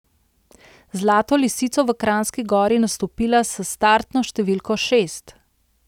Zlato lisico v Kranjski Gori nastopila s startno številko šest.